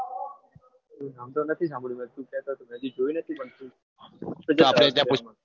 નામ તો નથી સાંભળ્યું પણ તું કહેતો હોય તો નદી જોઈ નથી એ તો આપણે ત્યા પૂછીશું